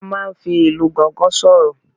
A máa n fi Ilu gangan soro